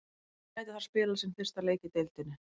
Hann gæti þar spilað sinn fyrsta leik í deildinni.